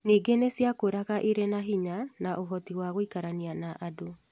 Ningĩ nĩ ciakũraga irĩ na hinya na ũhoti wa gũikarania na andũ.